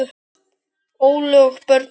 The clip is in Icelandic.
Óli og börnin.